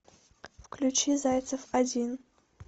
включи зайцев один